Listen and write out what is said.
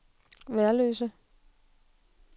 Værløse